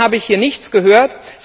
Davon habe ich hier nichts gehört.